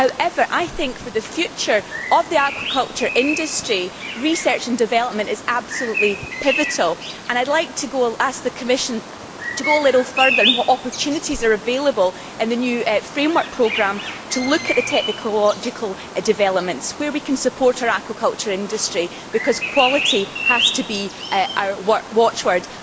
However, I think, for the future of the aquaculture industry, research and development is absolutely pivotal and I would like to ask the Commission to go a little further on what opportunities are available in the new Framework Programme, and to look at the technological developments where we can support our aquaculture industry, because quality has to be our watch word.